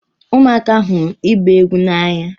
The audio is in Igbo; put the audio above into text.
Ụmụaka hụrụ ịgba egwu n'anya.